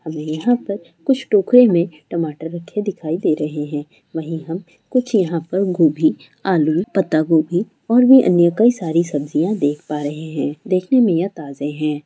और यहाँ पर कुछ टोकरे में टमाटर रखे दिखाई दे रहें हैं वहीं हम कुछ यहाँ पर गोभी आलू पत्तागोभी और व अन्य कई सारे सब्जियाँ देख पा रहें हैं देखने में ये ताजे हैं।